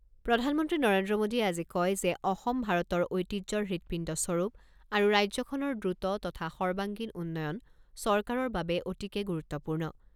প্ৰধানমন্ত্ৰী নৰেন্দ্ৰ মোদীয়ে আজি কয় যে অসম ভাৰতৰ ঐতিহ্যৰ হৃদপিণ্ডস্বৰূপ আৰু ৰাজ্যখনৰ দ্ৰুত তথা সৰ্বাংগীণ উন্নয়ন চৰকাৰৰ বাবে অতিকে গুৰুত্বপূৰ্ণ।